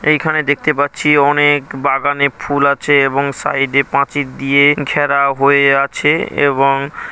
এইখানে দেখতে পাচ্ছি অনেক বাগানে ফুল আছে এবং সাইডে প্রাচীর দিয়ে ঘেরা হয়ে আছে এবং ।